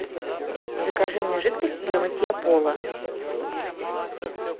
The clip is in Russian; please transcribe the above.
закажи мне жидкость для мытья пола